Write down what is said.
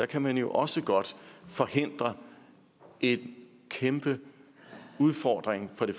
kan man også godt forhindre en kæmpe udfordring for det